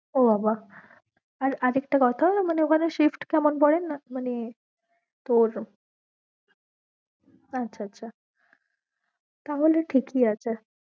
ও বাবা আর আর একটা কথা মানে ঐখানে shift কেমন পরে মানে আচ্ছা আচ্ছা তাহলে ঠিক ই আছে